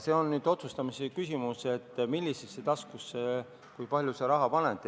See on otsustamise küsimus, millisesse taskusse kui palju raha sa paned.